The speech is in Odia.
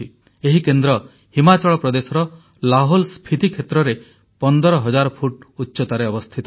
ଏହି କେନ୍ଦ୍ର ହିମାଚଳ ପ୍ରଦେଶର ଲାହୋଲସ୍ଫିତି କ୍ଷେତ୍ରରେ 15000 ଫୁଟ ଉଚ୍ଚତାରେ ଅବସ୍ଥିତ